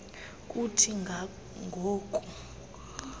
kuthi ga ngoku